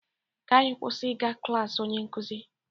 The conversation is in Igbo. Ka anyị kwụsị ịga klas onye nkụzi